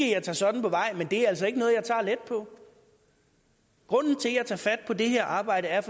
at jeg tager sådan på vej men det er altså ikke noget jeg tager let på grunden til at jeg tager fat på det her arbejde er